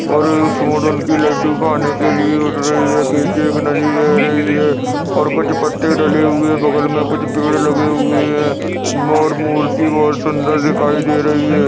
और सुंड उनकी लड्डू खाने के लिये उठ रही है पीछे एक नदी बह रही हैं और कुछ पत्ते डले हुए बगल में कुछ पेड़ लगे हुए हैं मोर मूर्ति बहुत सुंदर दिखायी दे रही हैं।